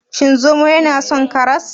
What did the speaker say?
Shin zomo yana son karas?